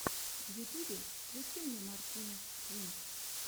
в ютюбе включи мне мартинез твинс